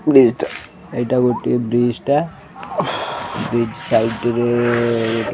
bridge ଟା ଏଇଟା ଗୋଟେ ବ୍ରିଜ୍ ଟା ବ୍ରିଜ୍ ସାଇଟ୍ ରେ --